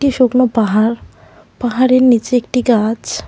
শুকনো পাহাড় পাহাড়ের নিচে একটি গাছ।